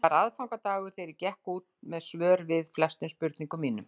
Það var aðfangadagur þegar ég gekk út með svör við flestum spurningum mínum.